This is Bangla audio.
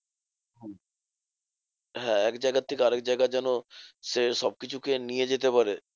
হ্যাঁ একজায়গার থেকে আরেক জায়গায় যেন সে সবকিছু কে নিয়ে যেতে পারে।